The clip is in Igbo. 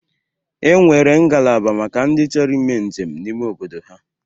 E nwere ngalaba maka ndị chọrọ ime njem n'ime obodo ha.